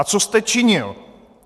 A co jste činil?